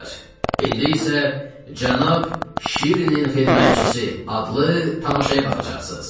İndi isə cənab Şirinin xidmətçisi adlı tamaşaya baxacaqsınız.